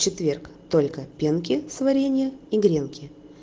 четверг только пенки с варенья и гренки